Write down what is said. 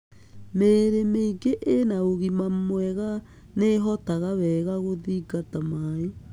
Mĩrĩ mĩingĩ ĩna ũgima mwega nĩ ĩhotaga wega gũthigata maĩ.